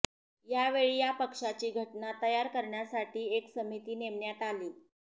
यावेळी या पक्षाची घटना तयार करण्यासाठी एक समिती नेमण्यात आली